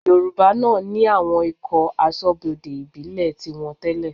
Yorùbá náà ní àwọn ikọ̀ aṣọ́bodè ìbílẹ̀ tiwọn tẹ́lẹ̀